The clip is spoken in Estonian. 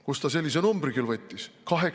Kust ta sellise numbri küll võttis?